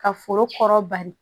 Ka foro kɔrɔ bari